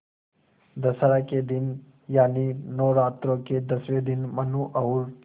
दशहरा के दिन यानि नौरात्रों के दसवें दिन मनु और